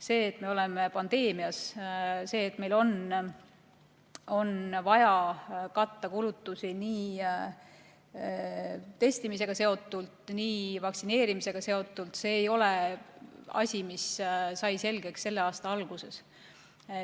See, et meil on pandeemia, see, et meil on vaja katta kulutusi nii testimise kui ka vaktsineerimisega seotult, ei ole asi, mis sai selgeks selle aasta alguses.